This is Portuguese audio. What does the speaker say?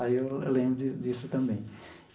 Aí eu eu lembro disso também.